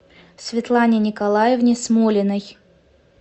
светлане николаевне смолиной